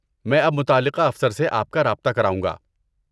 میں اب متعلقہ افسر سے آپ کا رابطہ کراؤں گا۔